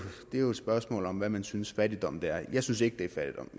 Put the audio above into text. det er jo et spørgsmål om hvad man synes fattigdom er jeg synes ikke det